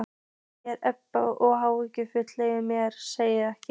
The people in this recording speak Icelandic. segir Edda og áhuginn leynir sér ekki.